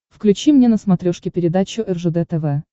включи мне на смотрешке передачу ржд тв